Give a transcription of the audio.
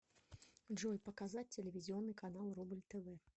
джой показать телевизионный канал рубль тв